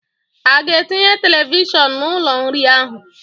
A ga-etinye televishọn n'ụlọ nri ahụ.